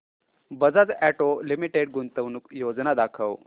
Bajaj auto limited गुंतवणूक योजना दाखव